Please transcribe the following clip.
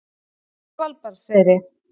Svalbarðseyri